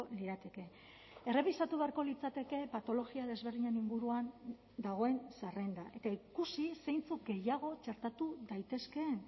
lirateke errebisatu beharko litzateke patologia desberdinen inguruan dagoen zerrenda eta ikusi zeintzuk gehiago txertatu daitezkeen